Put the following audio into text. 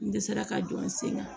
N dɛsɛra k'a don n sen kan